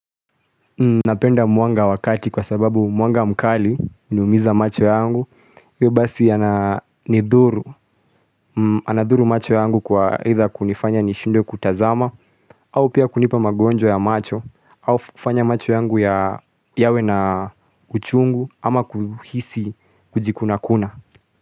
Napenda mwanga wakati kwa sababu mwanga mkali huniumiza macho yangu We basi anadhuru macho yangu kwa aitha kunifanya nishindwe kutazama au pia kunipa magonjwa ya macho au kufanya macho yangu yawe na uchungu ama kuhisi kujikuna kuna.